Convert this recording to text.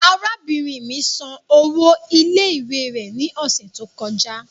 Arabinrin mi san owo ile-iwe rẹ ni ọsẹ to kọja